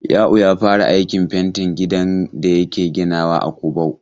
Ya'u ya fara aikin fentin gidan da yake ginawa a Kubau.